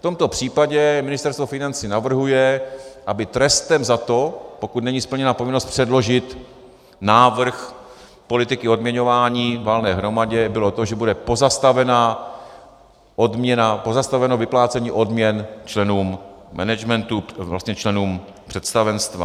V tomto případě Ministerstvo financí navrhuje, aby trestem za to, pokud není splněna povinnost předložit návrh politiky odměňování valné hromadě, bylo to, že bude pozastaveno vyplácení odměn členům managementu, vlastně členům představenstva.